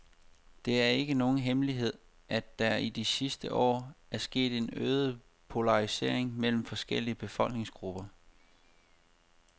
Det er ikke nogen hemmelighed, at der i de sidste år er sket en øget polarisering mellem forskellige befolkningsgrupper.